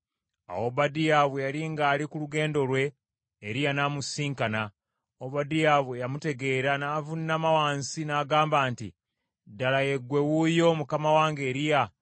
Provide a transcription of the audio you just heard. Awo Obadiya bwe yali ng’ali ku lugendo lwe, Eriya n’amusisinkana. Obadiya bwe yamutegeera n’avuunama wansi n’agamba nti, “Ddala ggwe wuuyo, mukama wange Eriya?”